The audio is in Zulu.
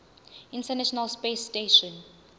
international space station